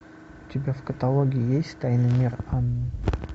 у тебя в каталоге есть тайный мир анны